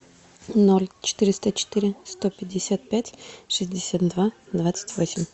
ноль четыреста четыре сто пятьдесят пять шестьдесят два двадцать восемь